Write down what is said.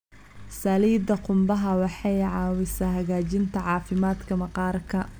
Saliidda qumbaha waxay caawisaa hagaajinta caafimaadka maqaarka.